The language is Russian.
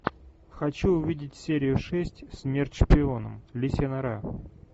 хочу увидеть серию шесть смерть шпионам лисья нора